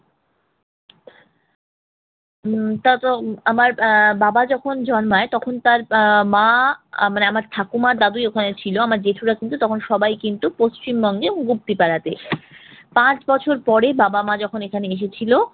হম তা তো আমার আহ বাবা যখন জন্মায় তখন তার আহ মা মানে আমার ঠাকুরমা দাদুই ওখানে ছিল, আমার জেঠুরা কিন্তু তখন সবাই কিন্তু পশ্চিম বঙ্গের মুক্তিপাড়াতে। পাঁচ বছর পরে বাবা-মা যখন এখানে এসেছিল